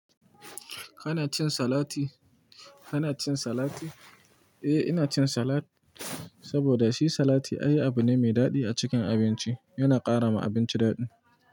Kana cin salati? Kana cin salati? Eh, ina cin salat saboda shi salati ayi abu ne mai daɗi a cikin abinci. Yana ƙara ma abinci daɗi.